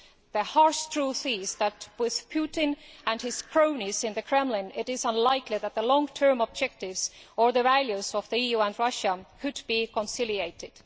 The harsh truth is that with Putin and his cronies in the Kremlin it is unlikely that the long term objectives or the values of the EU and Russia could be conciliated.